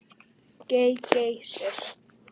GEY- Geysir.